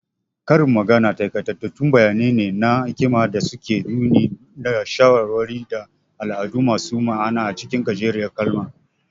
Karin magana takaitattun bayani ne na hikima da suke nuni da shawarwari, da al'adu masu ma'ana acikin gajeriyar kalma.